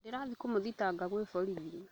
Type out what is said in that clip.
Ndĩrathiĩ kũmũthitanga kwĩ borithi